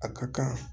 A ka kan